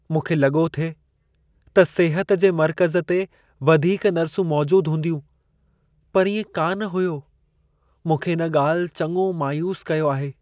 "मूंखे लॻो थिए त सिहत जे मर्क़ज़ ते वधीक नर्सूं मौजूद हूंदियूं, पर इएं कान हुयो। मूंखे इन ॻाल्हि चङो मायूस कयो आहे।